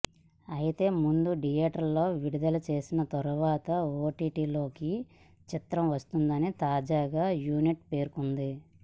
అయితే ముందు థియేటర్లలో విడుదల చేసిన తర్వాత ఓటీటీలోకి చిత్రం వస్తుందని తాజాగా యూనిట్ పేర్కొంది